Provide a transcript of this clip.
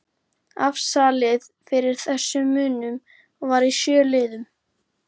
Afsalið fyrir þessum munum var í sjö liðum